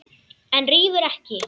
En rífur ekki.